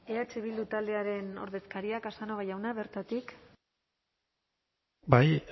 eh bildu taldearen ordezkaria casanova jauna bertatik bai